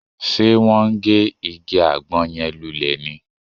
Ṣe wọ́n ń gé igi àgbọn yẹn lulẹ̀ ni?